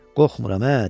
Qorxmuram, dedi.